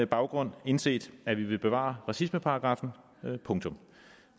baggrund indset at vi vil bevare racismeparagraffen punktum